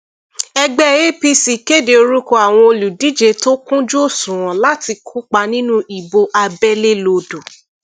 ẹgbẹ apc kéde orúkọ àwọn olùdíje tó kúnjú òṣùwọn láti kópa nínú ìbò abẹlé lodò